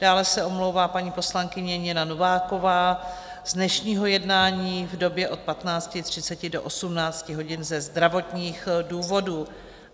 Dále se omlouvá paní poslankyně Nina Nováková z dnešního jednání v době od 15.30 do 18 hodin ze zdravotních důvodů.